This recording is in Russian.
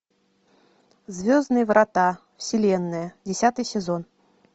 звездные врата вселенная десятый сезон